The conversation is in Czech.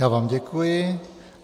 Já vám děkuji.